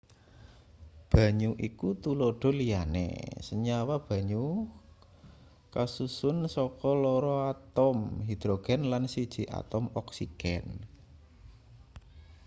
banyu iku tuladha liyane senyawa banyu kasusun saka loro atom hidrogen lan siji atom oksigen